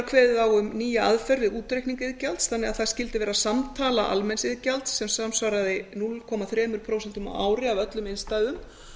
kveðið á um nýja aðferð við útreikninga iðgjald þannig að það skyldi vera samtala almenns iðgjalds sem samsvaraði núll komma þrjú prósent á ári af öllum innstæðum